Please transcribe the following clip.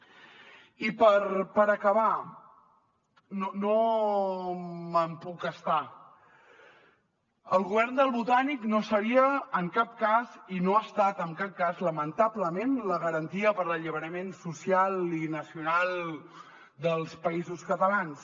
i per acabar no me’n puc estar el govern del botànic no seria en cap cas i no ha estat en cap cas lamentablement la garantia per a l’alliberament social i nacional dels països catalans